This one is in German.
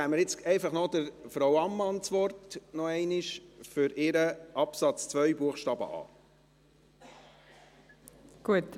Dann geben wir jetzt einfach noch einmal Frau Ammann für ihren Antrag zu Absatz 2 Buchstabe a das Wort.